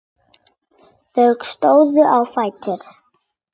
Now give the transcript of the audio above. Þau stóðu á fætur.